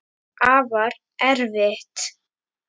Afar erfitt.